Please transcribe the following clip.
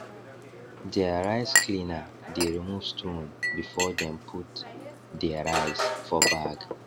deir rice cleaner dey remove stone before dem put dey rice for bag